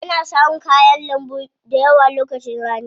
Ana samun kayan lambu dayawa lokacin rani.